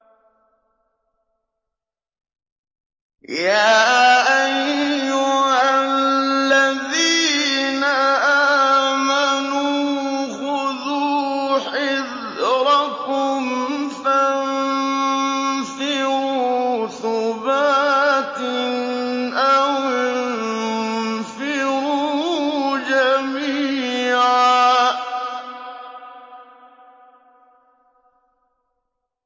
يَا أَيُّهَا الَّذِينَ آمَنُوا خُذُوا حِذْرَكُمْ فَانفِرُوا ثُبَاتٍ أَوِ انفِرُوا جَمِيعًا